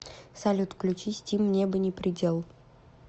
салют включи стим небо не предел